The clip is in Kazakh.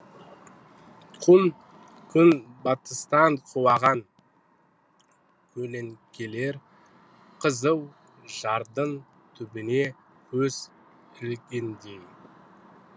күн батыстан құлаған көлеңкелер қызыл жардың түбіне көз ілгендей